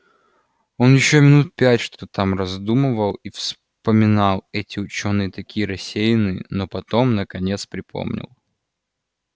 он ещё минут пять что-то там раздумывал и вспоминал эти учёные такие рассеянные но потом наконец припомнил